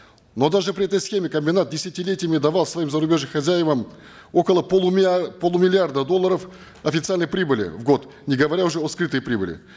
но даже при этой схеме комбинат десятилетиями давал своим зарубежным хозяевам около полумиллиарда долларов официальной прибыли в год не говоря уже о скрытой прибыли